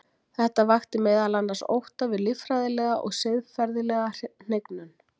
þetta vakti meðal annars ótta við líffræðilega og siðferðilega hnignun